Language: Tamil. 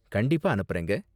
கண்டிப்பா அனுப்பறேங்க.